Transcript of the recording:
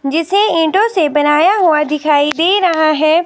जिसे ईंटों से बनाया हुआ दिखाई दे रहा है।